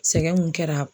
Sɛgɛn mun kɛra